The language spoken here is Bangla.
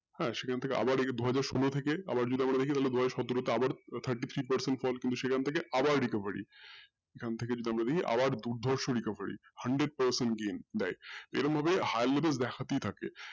সেখান থেকে আবার দেখি দুহাজার সোলো থেকে আবার দুবছর দেখি দুহাজার আঠারো থেকে আবার thirty three percent আবার সেখান থেকে recovery এখন থেকে recovery আবার দুর্দর্শ recovery hundred percent gain এরকম ভাবে high level দেখাতেই থাকে